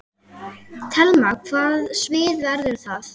Telma: Hvaða svið verður það?